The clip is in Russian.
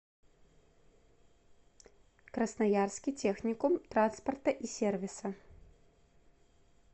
красноярский техникум транспорта и сервиса